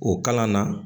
O kalan na